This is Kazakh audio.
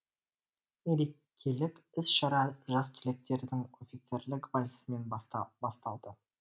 мерекелік іс шара жас түлектердің офицерлік вальсімен басталды